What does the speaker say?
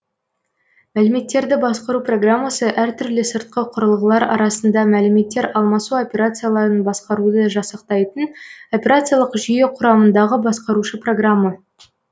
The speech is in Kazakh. мәліметтерді басқару программасы әр түрлі сыртқы құрылғылар арасында мәліметтер алмасу операцияларын басқаруды жасақтайтын операциялық жүйе құрамындағы басқарушы программа